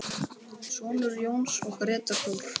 Sonur Jóns er Grétar Þór.